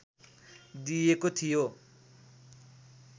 दिएको थियो